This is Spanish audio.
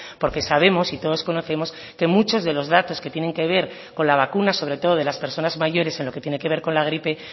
porque sabemos y todos conocemos que muchos de los datos que tienen que ver con la vacuna sobre todo de las personas mayores en lo que tiene que ver con la gripe